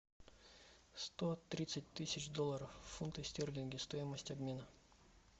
сто тридцать тысяч долларов фунты стерлинги стоимость обмена